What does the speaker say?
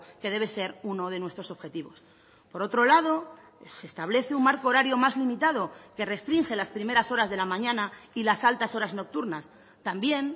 que debe ser uno de nuestros objetivos por otro lado se establece un marco horario más limitado que restringe las primeras horas de la mañana y las altas horas nocturnas también